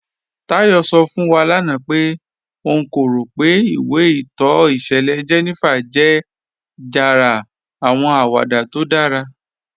Táyọ̀ sọ̀ fún wà lána pé ọ̀n kò rọ̀ pé ìwé ìtọ́ ìṣẹ̀lẹ̀ 'Jenifa' jẹ́ jàrá àwọn àwàdà tó dára.